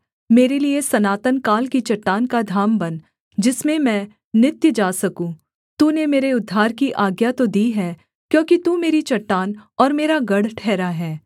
मेरे लिये सनातन काल की चट्टान का धाम बन जिसमें मैं नित्य जा सकूँ तूने मेरे उद्धार की आज्ञा तो दी है क्योंकि तू मेरी चट्टान और मेरा गढ़ ठहरा है